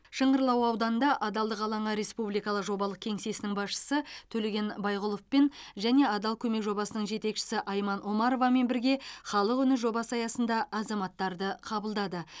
шыңғырлау ауданында адалдық алаңы республикалық жобалық кеңсесінің басшысы төлеген байғұловпен және адал көмек жобасының жетекшісі айман омаровамен бірге халық үні жобасы аясында азаматтарды қабылдады